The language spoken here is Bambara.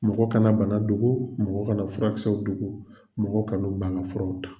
Mɔgɔ kana bana dogo mɔgɔ kana furakisɛw dogo mɔgɔ kana ban furaw ta.